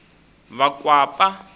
vakwapa